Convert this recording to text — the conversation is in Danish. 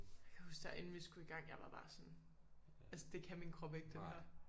Jeg kan huske der inden vi skulle i gang jeg var bare sådan altså det kan min krop ikke det her